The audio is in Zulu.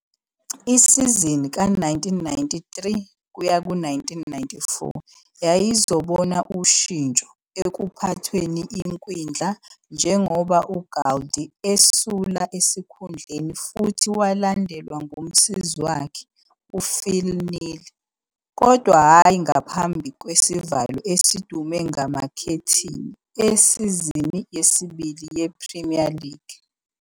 Isizini ka-1993-94 yayizobona ushintsho ekuphathweni ekwindla njengoba uGould esula esikhundleni futhi walandelwa ngumsizi wakhe uPhil Neal - kodwa hhayi ngaphambi kwesivalo esidume ngamakhethini esizini yesibili yePremier League.